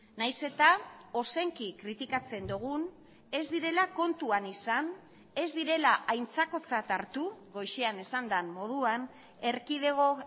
nahiz eta ozenki kritikatzen dugun ez direla kontuan izan ez direla aintzakotzat hartu goizean esan den moduan erkidego